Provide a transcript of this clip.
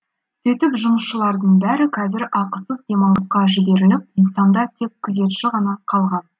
сөйтіп жұмысшылардың бәрі қазір ақысыз демалысқа жіберіліп нысанда тек күзетші ғана қалған